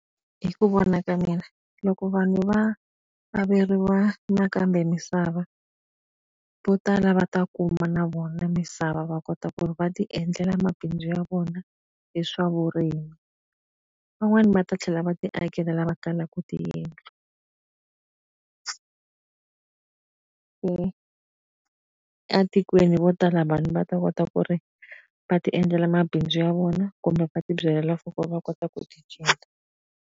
Hi ku vona ka mina, loko vanhu va averiwa nakambe ka misava, vo tala va ta kuma na vona misava va kota ku ri va ti endlela mabindzu ya vona hi swa vurimi. Van'wani va ta tlhela va ti akela lava kalaka tiyindlu. Se etikweni vo tala vanhu va ta kota ku ri va ti endlela mabindzu ya vona kumbe va ti byalela for ku va kota ku ti .